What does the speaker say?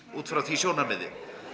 út frá því sjónarmiði